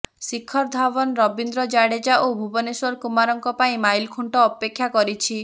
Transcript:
ଶିଖର ଧାୱନ୍ ରବୀନ୍ଦ୍ର ଜାଦେଜା ଓ ଭୁବନେଶ୍ବର କୁମାରଙ୍କ ପାଇଁ ମାଇଲଖୁଣ୍ଟ ଅପେକ୍ଷା ରଖିଛି